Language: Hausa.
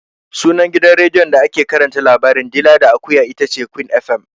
Sunan gidan rediyon da ake karanta labarin "dila da akuya" itace Queen FM.